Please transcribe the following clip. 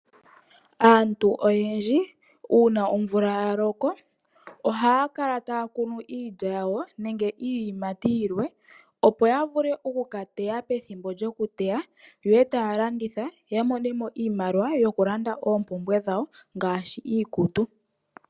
Aantu oyendji uuna omvula ya loko ohaya kala taya kunu iilya yawo nenge iiyamati yilwe opo ya vule oku ka teya pethimbo lyokuteya yo eta ya landitha opo ya vule oku mona mo iimaliwa ya ka lande oompumbwe dhawo.